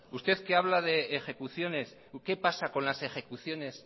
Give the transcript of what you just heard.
usted que habla de ejecuciones qué pasa con las ejecuciones